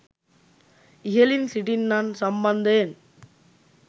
ඉහලින් සිටින්නන් සම්බන්ධයෙන්